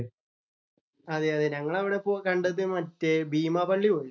അതെ അതെ ഞങ്ങൾ അവിടെ അവിടെ പോയി കണ്ടത് മറ്റേ ബീമാ പള്ളി പോയി.